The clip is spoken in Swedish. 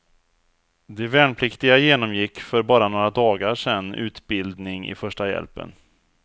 De värnpliktiga genomgick för bara några dagar sedan utbildning i första hjälpen.